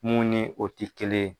Mun ni o ti kelen ye.